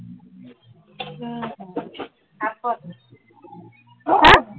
হা?